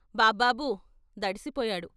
బాబ్బాబు దడిసి పోయాడు.